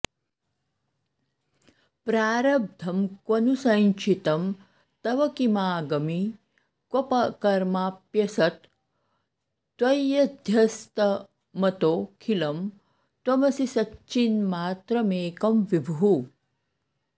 प्रारब्धं क्वनु सञ्चितं तव किमागामि क्व कर्माप्यसत् त्वय्यध्यस्तमतोऽखिलं त्वमसि सच्चिन्मात्रमेकं विभुः